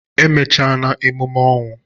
E mechana emume ọnwụ?